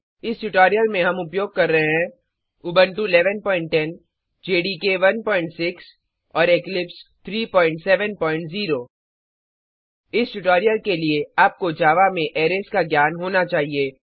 इस ट्यूटोरिल में हम उपयोग कर रहे हैं उबंटु 1110 जेडीके 16 और इक्लिप्स 370 इस ट्यूटोरिल के लिए आपको जावा में अरेज का ज्ञान होना चाहिए